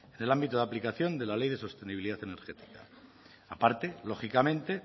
en el ámbito de aplicación de la ley de sostenibilidad energética aparte lógicamente